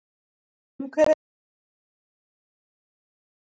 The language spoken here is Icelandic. Umhverfis Venus ganga heldur engin fylgitungl.